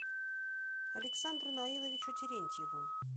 александру наиловичу терентьеву